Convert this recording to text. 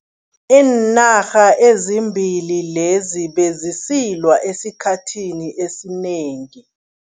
Iinarha ezimbili lezi bezisilwa esikhathini esinengi.